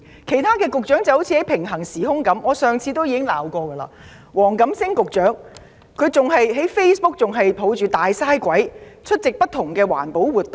其他局長彷彿活在平行時空中，正如我上次指摘，黃錦星局長仍舊在 Facebook 抱着"大嘥鬼"，出席不同環保活動。